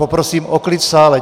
Poprosím o klid v sále.